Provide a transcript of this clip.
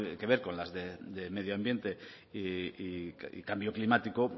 que ver con las de medio ambiente y cambio climático